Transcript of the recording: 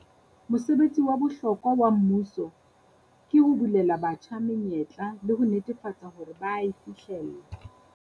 Mosebetsi wa bohlokwa wa mmuso ke ho bulela batjha menyetla le ho netefatsa hore ba a e fihlella.